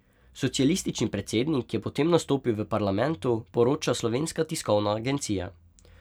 Socialistični predsednik je potem nastopil v parlamentu, poroča Slovenska tiskovna agencija.